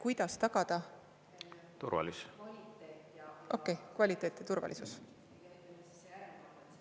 Kuidas tagada turvalisus ja kvaliteet?